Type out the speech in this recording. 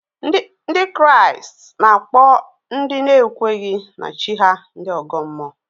Ndị Kraịst na-akpọ ndị na-ekweghị na chi ha ndị ọgọ mmụọ